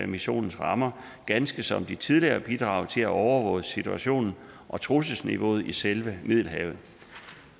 missionens rammer ganske som de tidligere bidrag til at overvåge situationen og trusselsniveauet i selve middelhavet